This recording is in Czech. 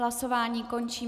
Hlasování končím.